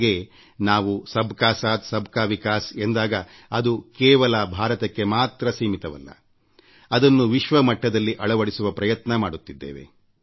ಹಾಗೇ ನಾವು ಸಬ್ ಕಾ ಸಾಥ್ ಸಬ್ ಕಾ ವಿಕಾಸ್ ಎಂದಾಗ ಅದು ಕೆವಲ ಭಾರತಕ್ಕೆ ಮಾತ್ರ ಸೀಮಿತವಾಗುವುದಿಲ್ಲ ಅದನ್ನು ವಿಶ್ವ ಮಟ್ಟದಲ್ಲಿ ಅಳವಡಿಸುವ ಪ್ರಯತ್ನ ಮಾಡುತ್ತಿದ್ದೇವೆ